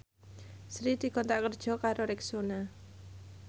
Sri dikontrak kerja karo Rexona